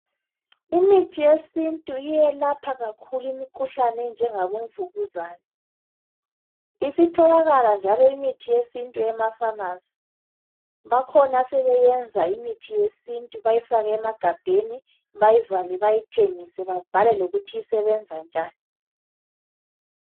imithi yesintu iyelapha kakhulu imkhuhlane enjengabo mvukuzane isitholakala njalo imithi yesintu emaphamarcy bakhona asebenyenza imithi yesintu bayafake emagabheni babhale lokuthi isebenza njani